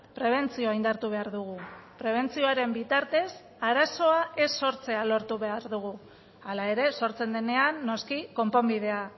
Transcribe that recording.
prebentzioa indartu behar dugu prebentzioaren bitartez arazoa ez sortzea lortu behar dugu hala ere sortzen denean noski konponbidea